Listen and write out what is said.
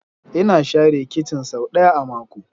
Ina share kicin sau ɗaya a mako.